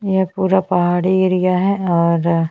यह पूरा पहाड़ी एरिया है और --